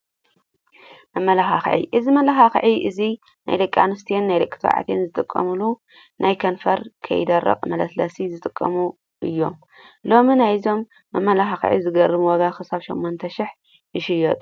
መመላክዒ፦ እዚ መመላክዒ እዚ ናይ ደቀ-ኣንስተዮን ናይ ደቂ ተባዕትዮን ዝጥቀምሎም ናይ ከንፈር ከይደርቅ መለስለሲ ዝጠቅሙ እዮም። ሎሚ ናይዞም መመላክዕ ዝገርም ዋጋ ክሳብ 8000 ይሽየጡ።